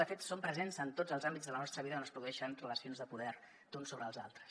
de fet són presents en tots els àmbits de la nostra vida on es produeixen relacions de poder d’uns sobre els altres